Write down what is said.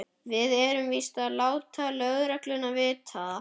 Við verðum víst að láta lögregluna vita.